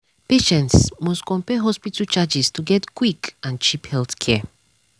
patients must compare hospital charges to get quick and cheap healthcare.